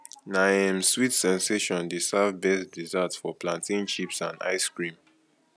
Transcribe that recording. na um sweet sensation dey serve best dessert of plantain chips and ice cream